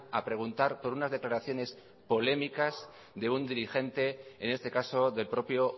a preguntar por unas declaraciones polémicas de un dirigente en este caso del propio